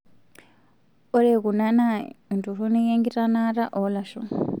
Ore kuna naa entoronik enkitanaata oolashoo;